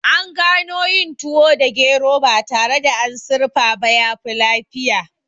An gano yin tuwo da gero ba tare da an sirfa ba yafi lafiya